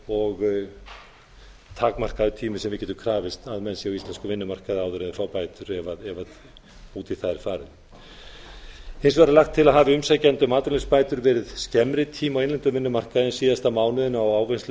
og takmarkaður tími sem við getum krafist þess að menn séu á íslenskum vinnumarkaði áður en þeir fá bætur ef út í það er farið hins vegar er lagt til að hafi umsækjandi um atvinnuleysisbætur verið skemmri tíma á innlendum vinnumarkaði en síðasta mánuðinn á